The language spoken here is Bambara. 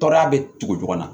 Tɔɔrɔya bɛ tugu ɲɔgɔn na